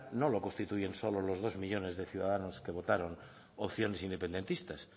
no lo constituyen solo los dos millónes de ciudadanos que votaron opciones independentistas